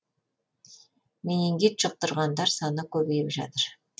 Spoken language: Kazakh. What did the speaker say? менингит жұқтырғандар саны көбейіп жатыр